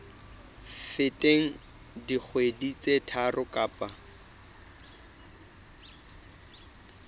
feteng dikgwedi tse tharo kapa